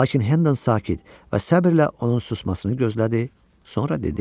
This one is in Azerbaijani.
Lakin Hennon sakit və səbrlə onun susmasını gözlədi, sonra dedi: